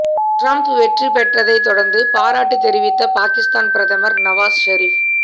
Trump வெற்றிப் பெற்றதை தொடர்ந்து பாராட்டு தெரிவித்த பாகிஸ்தான் பிரதமர் நவாஸ் செரீப்